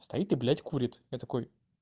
стоит и блядь курит я такой